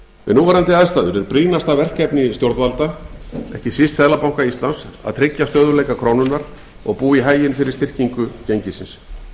núverandi aðstæður er brýnasta verkefni stjórnvalda ekki síst seðlabanka íslands að tryggja stöðugleika krónunnar og búa í haginn fyrir styrkingu gengisins